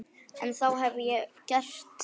En það hef ég gert.